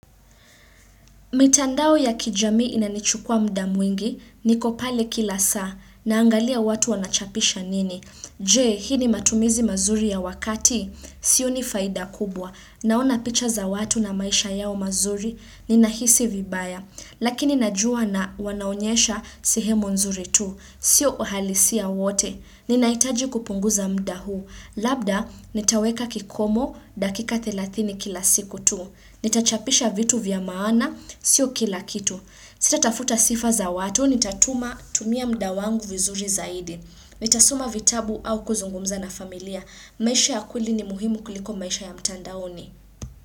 Mitandao ya kijamii inanichukua mda mwingi niko pale kila saa naangalia watu wanachapisha nini. Je, hii ni matumizi mazuri ya wakati? Sioni faida kubwa. Naona picha za watu na maisha yao mazuri ninahisi vibaya. Lakini najua na wanaonyesha sehemu nzuri tu. Sio uhalisia wote. Ninahitaji kupunguza mda huu. Labda, nitaweka kikomo dakika 30 kila siku tu. Nitachapisha vitu vya maana, sio kila kitu Sitatafuta sifa za watu, nitatuma tumia mda wangu vizuri zaidi Nitasoma vitabu au kuzungumza na familia maisha ya kweli ni muhimu kuliko maisha ya mtandaoni.